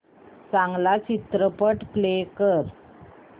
चांगला चित्रपट प्ले कर